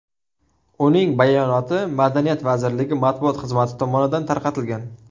Uning bayonoti Madaniyat vazirligi matbuot xizmati tomonidan tarqatilgan .